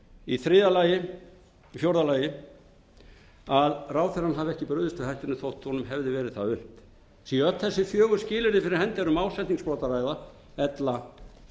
veldur ábyrgð d að ráðherrann hafi ekki brugðist við hættunni þótt honum hefði verið það unnt séu öll þessi fjögur skilyrði fyrir hendi er um ásetningsbrot að ræða ella